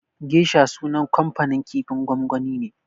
Geisha sunan kamfanin kifin gwangwani ne.